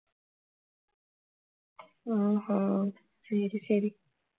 ஓஹோ சரி சரி